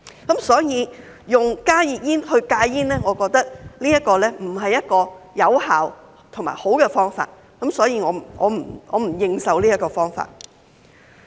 因此，我認為以加熱煙來戒煙並不是一個有效和良好的方法，所以我不認受這個方法。